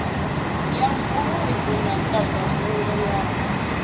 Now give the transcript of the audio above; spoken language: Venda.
ya vhuluvhi na ndamgulo yaho